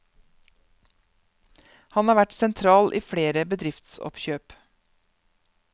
Han har vært sentral i flere bedriftsoppkjøp.